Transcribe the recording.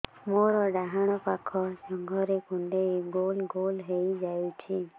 ମୋର ଡାହାଣ ପାଖ ଜଙ୍ଘରେ କୁଣ୍ଡେଇ ଗୋଲ ଗୋଲ ହେଇଯାଉଛି